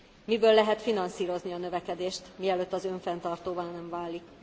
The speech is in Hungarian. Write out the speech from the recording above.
Miből lehet finanszírozni a növekedést, mielőtt az önfenntartóvá nem válik?